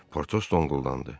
Potos donquldandı.